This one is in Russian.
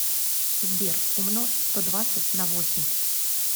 сбер умножь сто двадцать на восемь